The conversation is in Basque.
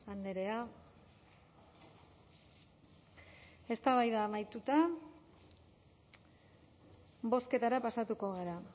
andrea eztabaida amaituta bozketara pasatuko gara